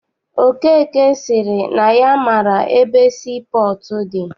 Okeke sịrị na ya maara ebe sii pọọtụ dị.